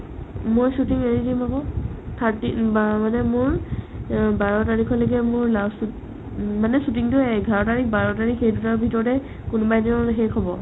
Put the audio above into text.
মই shooting এৰি দিম আকৌ thirteen মাহ মানে মোৰ অ বাৰ তাৰিখলৈকে মোৰ last shoot উম মানে shooting টোয়ে এঘাৰ তাৰিখ বাৰ তাৰিখ সেইদুটাৰ ভিতৰতে কোনোবা এদিন মানে শেষ হ'ব